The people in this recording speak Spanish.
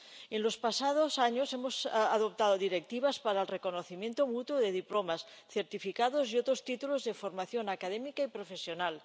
En los pasados años hemos adoptado directivas para el reconocimiento mutuo de diplomas, certificados y otros títulos de formación académica y profesional.